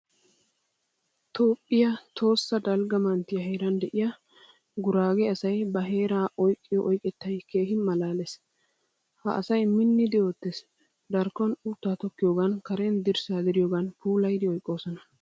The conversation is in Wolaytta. Toophphiyaa Tohossa dalgga manttiyaa heeran de'iya gurage asay ba heeraa oyqqiyo oyqqettay keehin malaalees. Ha asay miinnidi oottees. Darkkon utta tokkiyogan karen dirssa diriyogan puulayidi oyqqososna.